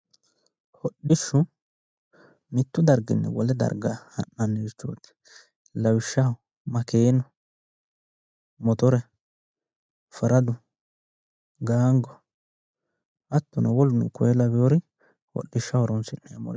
Hodishshu mitu darginni wole darga sa'nannirichoti lawishshaho makkeenu, mottore ,faraddu, Gaango, hattonno woluno korre lawinore hodhishsha horonsi'neemmore